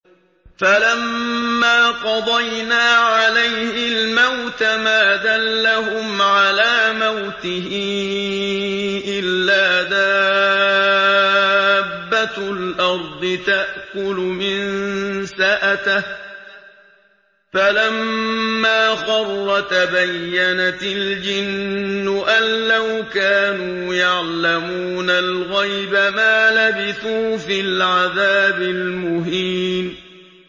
فَلَمَّا قَضَيْنَا عَلَيْهِ الْمَوْتَ مَا دَلَّهُمْ عَلَىٰ مَوْتِهِ إِلَّا دَابَّةُ الْأَرْضِ تَأْكُلُ مِنسَأَتَهُ ۖ فَلَمَّا خَرَّ تَبَيَّنَتِ الْجِنُّ أَن لَّوْ كَانُوا يَعْلَمُونَ الْغَيْبَ مَا لَبِثُوا فِي الْعَذَابِ الْمُهِينِ